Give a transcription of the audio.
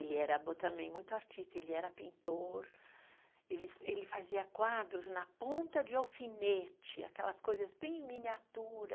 Ele era bom também muito artista, ele era pintor, ele ele fazia quadros na ponta de alfinete, aquelas coisas bem miniatura.